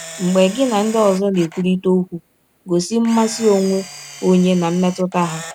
Mgbe gị na ndị ọzọ na - ekwụrịta ọkwụ, gọsi mmasị ọnwe ọnye ná mmetụta ha.